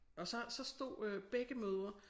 Og så så stod øh begge mødre